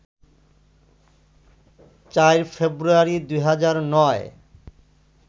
৪ ফেব্রুয়ারি, ২০০৯